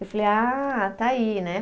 Eu falei, ah, está aí, né?